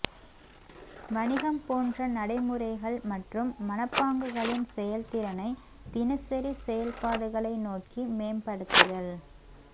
வணிகம் போன்ற நடைமுறைகள் மற்றும் மனப்பாங்குகளின் செயல்திறனை தினசரி செயல்பாடுகளை நோக்கி மேம்படுத்துதல்